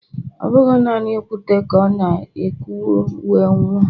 ọ bụ naanị okwute ka ọ kụgburu wee nwụọ.